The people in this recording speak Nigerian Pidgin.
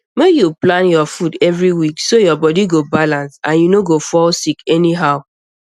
make you plan your food every week so your body go balance and you no go fall sick anyhow